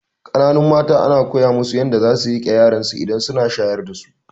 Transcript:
Kananun mata ana koya musu yadda zasu riƙe yaransu idan suna shayar dasu